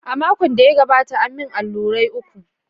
A makon da ya gabata, an yi min allurai uku.